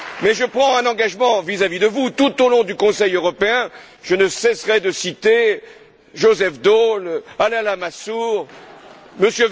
Je prends un engagement vis à vis de vous tout au long du Conseil européen, je ne cesserai de citer Joseph Daul, Alain Lamassoure, M.